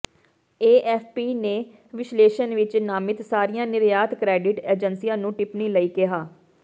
AFP ਨੇ ਵਿਸ਼ਲੇਸ਼ਣ ਵਿੱਚ ਨਾਮਿਤ ਸਾਰੀਆਂ ਨਿਰਯਾਤ ਕਰੈਡਿਟ ਏਜੰਸੀਆਂ ਨੂੰ ਟਿੱਪਣੀ ਲਈ ਕਿਹਾ